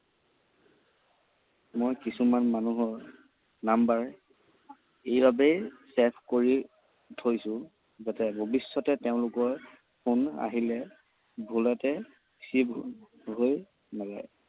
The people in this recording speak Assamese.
মই কিছুমান মানুহৰ নম্বৰ এইবাবেই save কৰি থৈছোঁ, যাতে ভৱিষ্যতে তেওঁলোকৰ ফোন আহিলে ভুলতে receive হৈ নাযায়।